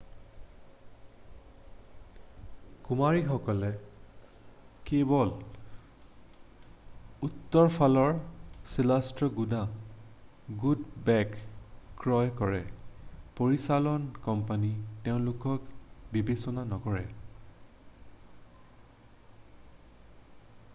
কুমাৰীসকলে কেৱল উত্তৰফালৰ শিলাস্তৰৰ গুড বেক' ক্ৰয় কৰে পৰিচালন কোম্পানী তেওঁলোকে বিবেচনা নকৰে